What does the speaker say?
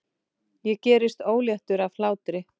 Ég gerist óléttur af hlátri.